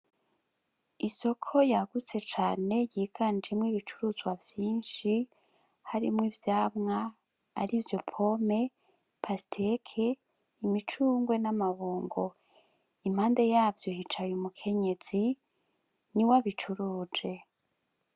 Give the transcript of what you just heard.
Isoko yagutse cane yiganjemwo ibicuruzwa vyinshi harimwo ivyamwa arivyo pomme, pasteke, imicungwe n'amabungo, impande yavyo hicaye umukenyezi niwe abicuruje.